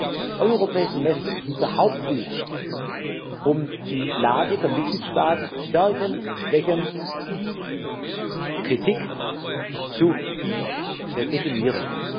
Das Europäische Semester ist unser Hauptbuch, um die Lage der Mitgliedstaaten zu Stärken und Schwächen, Kritik zu definieren.